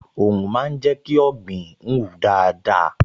Òòrùn máa ń jẹ́ kí ọ̀gbìn hù dáadáa